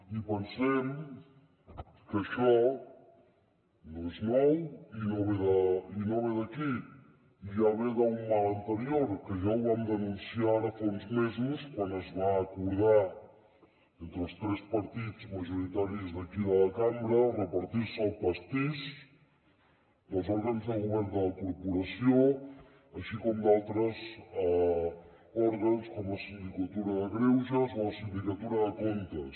i pensem que això no és nou i no ve d’aquí ja ve d’un mal anterior que ja ho vam denunciar ara fa uns mesos quan es va acordar entre els tres partits majoritaris d’aquí de la cambra repartir se el pastís dels òrgans de govern de la corporació així com d’altres òrgans com la sindicatura de greuges o la sindicatura de comptes